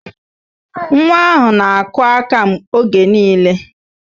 Nwa ahụ na-akụ aka oge niile